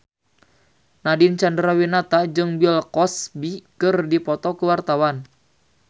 Nadine Chandrawinata jeung Bill Cosby keur dipoto ku wartawan